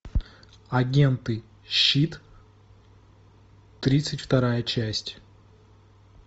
агенты щит тридцать вторая часть